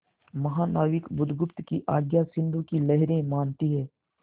महानाविक बुधगुप्त की आज्ञा सिंधु की लहरें मानती हैं